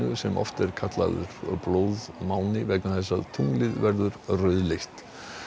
sem oft er kallaður blóðmáni vegna þess að tunglið verður rauðleitt